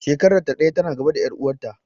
Shekarar ta ɗaya ta na gaba da ƴar uwar ta